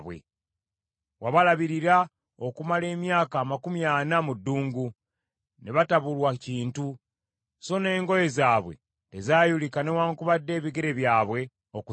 Wabalabirira okumala emyaka amakumi ana mu ddungu, ne batabulwa kintu, so n’engoye zaabwe tezaayulika newaakubadde ebigere byabwe okuzimba.